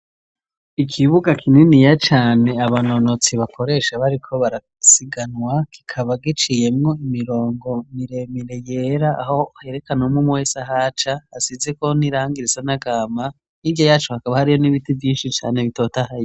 Ikibuga kininiya cane abanonotsi bakoresha bariko barasiganwa kikaba giciyemwo imirongo miremire yera aho herekanw' umw'umwe wese ahaca hasizeko nirangi risa n'agahama hirya yaco hakaba hariho n'ibiti vyinshi cane bitotahaye